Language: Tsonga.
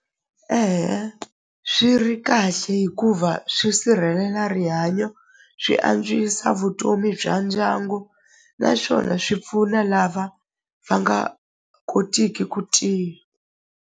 swi ri kahle hikuva swi sirhelela rihanyo swi antswisa vutomi bya ndyangu naswona swi pfuna lava va nga kotiki ku .